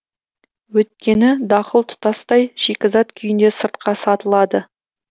өйткені дақыл тұтастай шикізат күйінде сыртқа сатылады